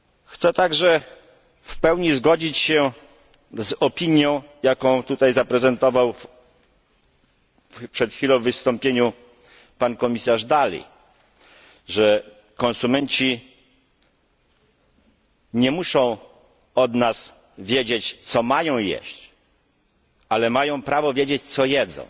Chcę także w pełni zgodzić się z opinią, jaką tutaj przed chwilą zaprezentował w wystąpieniu pan komisarz Dalli, że konsumenci nie muszą od nas wiedzieć, co mają jeść, ale mają prawo wiedzieć, co jedzą.